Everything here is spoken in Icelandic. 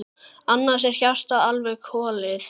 Annars er hjartað alveg klofið.